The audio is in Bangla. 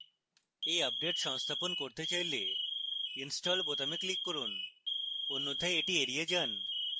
এই আপডেট সংস্থাপন করতে চাইলে install বোতামে click করুন অন্যথায় এটি এড়িয়ে যান